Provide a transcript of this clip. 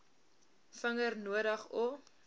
vinger nodig o